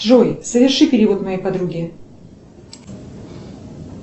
джой соверши перевод моей подруге